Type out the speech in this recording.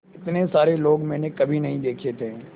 इतने सारे लोग मैंने कभी नहीं देखे थे